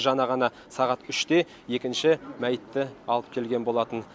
жаңа ғана сағат үште екінші мәйітті алып келген болатын